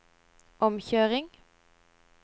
omkjøring